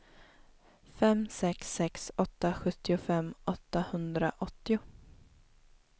fem sex sex åtta sjuttiofem åttahundraåttio